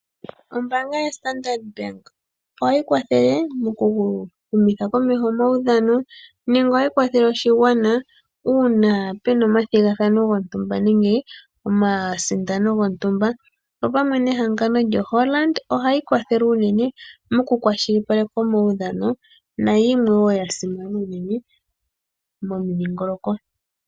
Ombaanga yoStandard Bank ohayi kwathele mokuhumitha komeho omaudhano nenge ohayi kwathele oshigwana uuna puna omathigathano gontumba nenge omasindano gontumba. Opamwe nehangano lyoHollard ohsyi kwathele uunene mokukwashilipaleka omaudhano nayimwe wo ya simana uunene momudhingoloko.